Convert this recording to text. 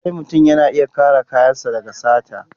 Lallai mutum yana iya kare kayansu daga sata.